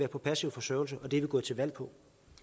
på passiv forsørgelse og det er vi gået til valg på